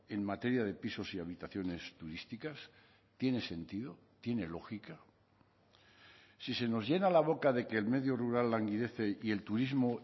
en materia de pisos y habitaciones turísticas tiene sentido tiene lógica si se nos llena la boca de que el medio rural languidece y el turismo